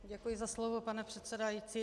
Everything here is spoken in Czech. Děkuji za slovo, pane předsedající.